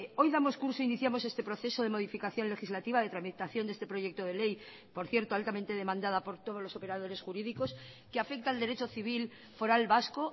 hoy damos curso iniciamos este proceso de modificación legislativa de tramitación de este proyecto de ley por cierto altamente demandada por todos los operadores jurídicos que afecta al derecho civil foral vasco